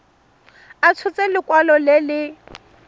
a tshotse lekwalo le le